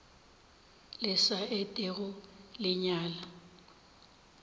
le sa etego le nyala